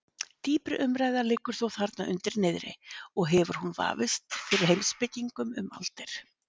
Dýpri umræða liggur þó þarna undir niðri og hefur hún vafist fyrir heimspekingum um aldir.